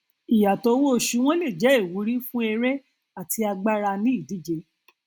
ìyàtọ owó oṣù wọn lè jẹ ìwúrí fún eré àti agbára ní ìdíje